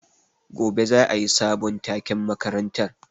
Gobe za a yi sabon taken makarantar.